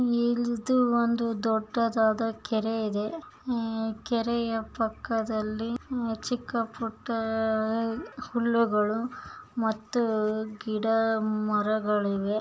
ಇದು ಒಂದು ದೊಡ್ಡದಾದ ಕೆರೆ ಇದೆ. ಕೆರೆಯ ಪಕ್ಕದಲ್ಲಿ ಚಿಕ್ಕ ಪುಟ್ಟ ಹುಲ್ಲುಗಳು ಮತ್ತು ಗಿಡ ಮರಗಳಿವೆ.